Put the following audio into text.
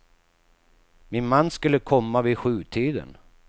Min man skulle komma vid sjutiden.